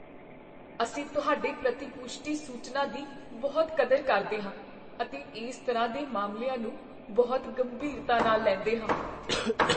ਅਸੀਂ ਤੁਹਾਡੇ ਪ੍ਰਤਿ ਪੁਸ਼ਟੀ ਸੂਚਨਾ ਦੀ ਬਹੁਤ ਕਦਰ ਕਰਦੇ ਹਾਂ ਅਤੇ ਇਸ ਤਰ੍ਹਾਂ ਦੇ ਮਾਮਲਿਆਂ ਨੂੰ ਬਹੁਤ ਗੰਭੀਰਤਾ ਨਾਲ ਲੈਂਦੇ ਹਾਂ।